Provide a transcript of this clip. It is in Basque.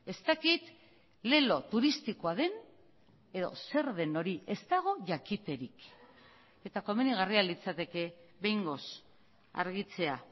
ez dakit lelo turistikoa den edo zer den hori ez dago jakiterik eta komenigarria litzateke behingoz argitzea